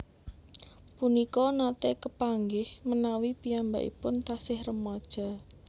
Punika nate kepanggih menawi piyambakipun tasih remaja